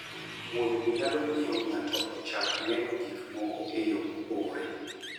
Wuoth nyalo miyo ng'ato ochak neno gik moko e yo mopogore.